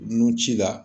Nun ci la